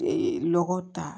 Ee lɔgɔ ta